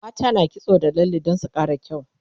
mata na kitso da lalle Dan su Kara kyau